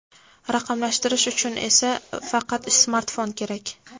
Raqamlashtirish uchun esa faqat smartfon kerak.